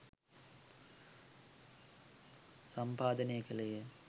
සම්පාදනය කෙළේය